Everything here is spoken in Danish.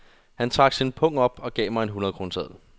Han trak sin pung op og gav mig en hundredkroneseddel.